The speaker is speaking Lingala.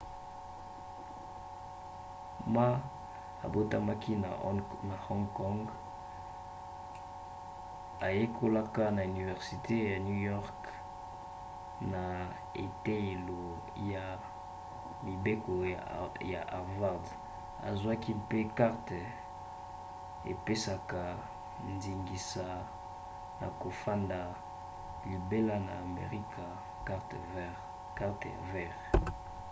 ma abotamaki na hong kong ayekolaka na universite ya new york mpe na eteyelo ya mibeko ya harvard azwaki mpe karte epesaka ndingisa ya kofanda libela na amerika karte ya vert